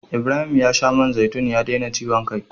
Ibrahim ya sha man zaitun ya daina ciwon kai.